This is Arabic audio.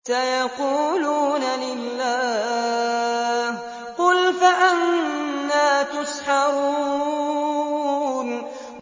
سَيَقُولُونَ لِلَّهِ ۚ قُلْ فَأَنَّىٰ تُسْحَرُونَ